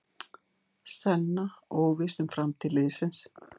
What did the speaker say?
Senna óviss um framtíð liðsins